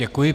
Děkuji.